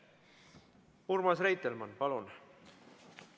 Urmas Reitelmann, palun!